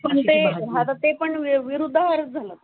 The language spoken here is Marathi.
पण ते ते पण विरुद्द आहर झाला.